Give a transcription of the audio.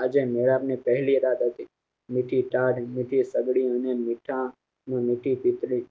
આજે નવાબ ની પહેલી રાત હતી નથી તાડ નથી પગડી એની મીથા અને મીઠી પીપળી